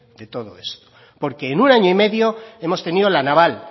de todo esto porque en un año y medio hemos tenido la naval